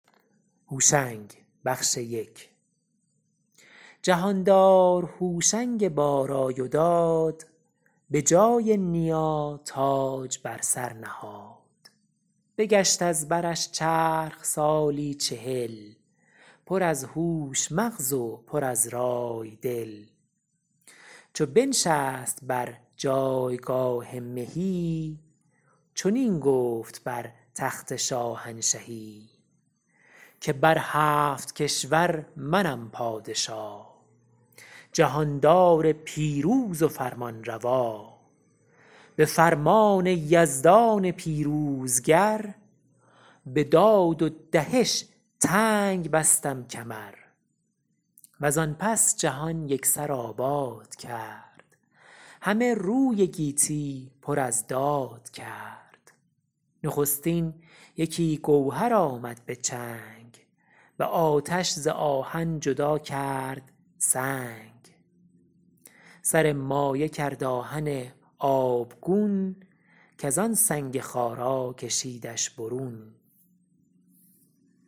جهاندار هوشنگ با رای و داد به جای نیا تاج بر سر نهاد بگشت از برش چرخ سالی چهل پر از هوش مغز و پر از رای دل چو بنشست بر جایگاه مهی چنین گفت بر تخت شاهنشهی که بر هفت کشور منم پادشا جهاندار پیروز و فرمانروا به فرمان یزدان پیروزگر به داد و دهش تنگ بستم کمر و زان پس جهان یک سر آباد کرد همه روی گیتی پر از داد کرد نخستین یکی گوهر آمد به چنگ به آتش ز آهن جدا کرد سنگ سر مایه کرد آهن آبگون کز آن سنگ خارا کشیدش برون